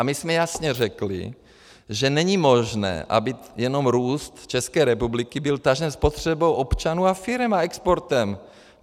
A my jsme jasně řekli, že není možné, aby jenom růst České republiky byl tažen spotřebou občanů a firem a exportem.